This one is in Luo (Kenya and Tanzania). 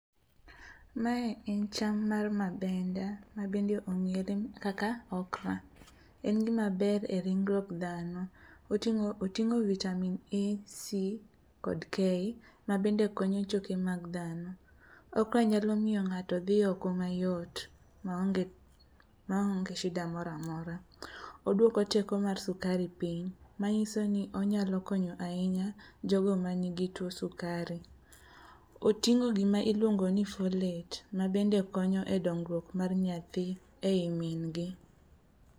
Mae en cham mar mabenda ma bende ong'ere kaka okra, en gimaber e ringruok dhano, oting'o vitamin A, C kod K mabende konyo choke mag dhano. Okra nyalo miyo ng'ato dhi oko mayot maonge shida moro amora. Oduoko teko mar sukari piny manyiso ni onyalo konyo ahinya jogo manigi tuo mar sukari. Oting'o gima iluongo ni folet mabende konyo e dongruok mar nyathi e i min gi.